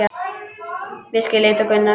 Birkir leit á Gunnar.